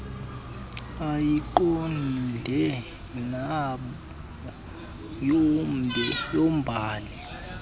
ayiqonde nemo yombhali